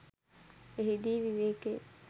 එහිදී විවේකය